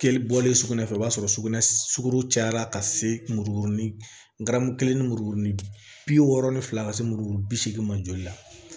Bɔlen sugunɛ fɛ o b'a sɔrɔ sugunɛ suguru cayara ka se muru kelen ni muru ni bi wɔɔrɔni fila ka se muru bi seegin ma joli la